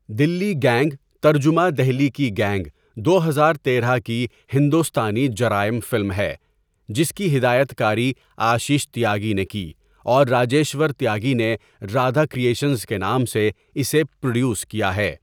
Delhi gang ترجمہ دہلی کی gang دو ہزار تیرہ کی ہندوستانی جرائم فلم ہے جس کی ہدایت کاری آشش تیاگی نے کی اور راجیشور تیاگی نے رادھا کرئیشنز کے نام سے اسے پروڈیوس کیا ہے.